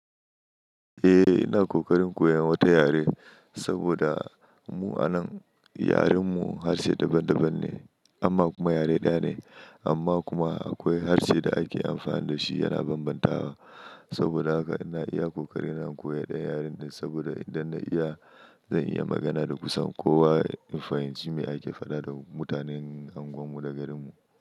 Eh, ina ƙoƙarin koyan wata yare saboda mu anan yaren mu harshe daban-daban ne amma kuma yare ɗaya ne amma kuma akwai harshe da ake amfani da shi yana bambantawa saboda haka ina iya ƙoƙarin in koya ɗan yaren saboda idan na iya zan iya magana da kusan kowa. In fahimci me ake faɗa da mutanen anguwan mu da garin mu.